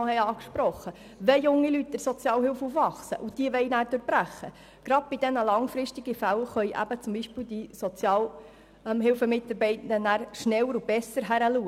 Und wenn junge Leute in der Sozialhilfe aufwachsen und dann die Armutsspirale durchbrechen wollen, können die Sozialhilfemitarbeitenden schneller und besser reagieren.